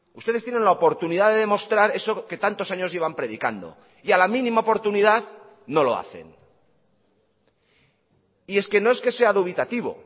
ustedes tienen la oportunidad de demostrar eso que tantos años llevan predicando y a la mínima oportunidad no lo hacen y es que no es que sea dubitativo